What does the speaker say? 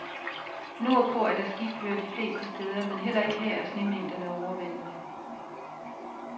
Nord på er der skiføre de fleste steder, men heller ikke her er snemængderne overvældende.